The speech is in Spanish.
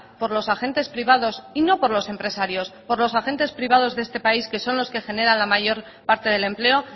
por los agentes privados y no por los empresarios por los agentes privados de esta país que son los que generan la mayor parte del empleo